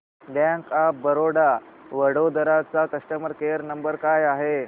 bank of Baroda Vadodara चा customer care number काय आहे